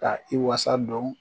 Ka i wasa dɔn